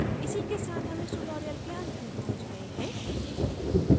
इसी के साथ हम tutorial के अंत में पहुँच गए हैं